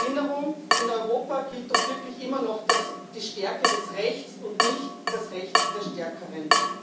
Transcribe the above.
Zur Erinnerung In Europa gilt doch wirklich immer noch die Stärke des Rechts und nicht das Recht der Stärkeren.